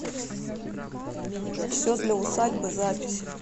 все для усадьбы запись